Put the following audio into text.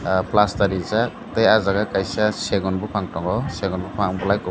plastar rijak tei ah jaga kaisa segon bopang tongo segon bopang bolai kopor.